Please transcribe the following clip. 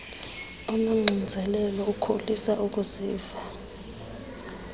unoxinzelelo ukholisa ukuziva